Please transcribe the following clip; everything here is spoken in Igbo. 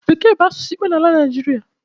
Bekee bụ asụsụ ikpe n’ala Naịjịrịa